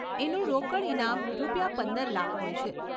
એનું રોકડ ઇનામ રૂપિયા પંદર લાખ હોય છે.